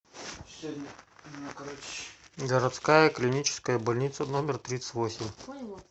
городская клиническая больница номер тридцать восемь